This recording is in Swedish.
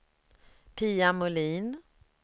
Pia Molin